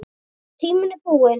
Tíminn er núna.